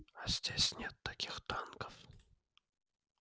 а здесь нет таких танков